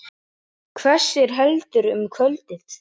Hvessir heldur um kvöldið